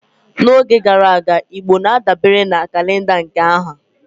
N'oge gara aga, Igbo na-adabere na kalenda nke ha